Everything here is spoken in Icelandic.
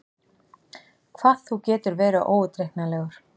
Hvað þú getur verið óútreiknanlegur!